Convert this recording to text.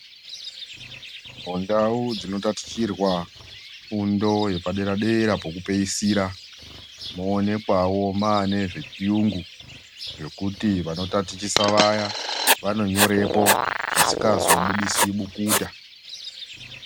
Mundau dzinotatichitirwa fundo yepaderadera pokupeyisira moonekwawo mwane zvechiyungu zvekuti vanotatichisa vaya vanonyorepo zvisikazobudisi bukuta.